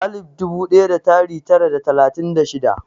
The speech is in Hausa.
alif dubu ɗaya da tari tara da talatin da shida